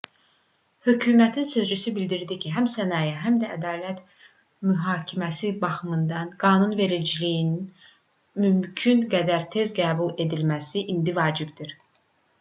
hökumətin sözçüsü bildirdi ki həm səhiyyə həm də ədalət mühakiməsi baxımından qanunvericiliyin mümkün qədər tez qəbul edilməsi indi vacibdir